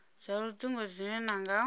dza lutingo dzine na nga